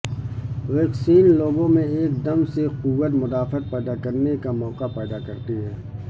vaccine لوگوں میں ایک دم سے قوت مدافعت پیدا کرنے کا موقع پیدا کرتی ہے